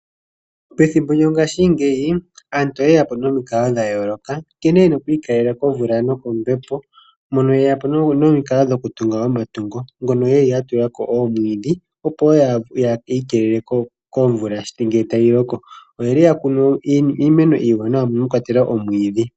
Pethimbo lyongashingeyi aantu oyeya po nomikalo dha yooloka nkene yena okwiikaleka komvula nokombepo mono yeya po nomikalo dhokutunga omatungo nenge